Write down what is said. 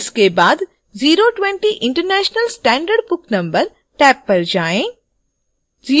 इसके बाद 020 international standard book number tab पर जाएँ